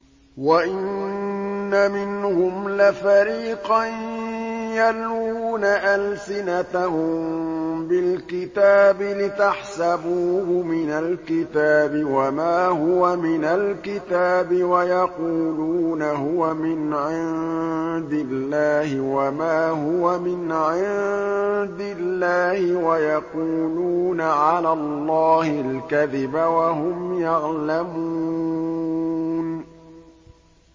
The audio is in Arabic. وَإِنَّ مِنْهُمْ لَفَرِيقًا يَلْوُونَ أَلْسِنَتَهُم بِالْكِتَابِ لِتَحْسَبُوهُ مِنَ الْكِتَابِ وَمَا هُوَ مِنَ الْكِتَابِ وَيَقُولُونَ هُوَ مِنْ عِندِ اللَّهِ وَمَا هُوَ مِنْ عِندِ اللَّهِ وَيَقُولُونَ عَلَى اللَّهِ الْكَذِبَ وَهُمْ يَعْلَمُونَ